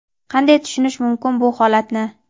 Qanday tushunish mumkin bu holatni.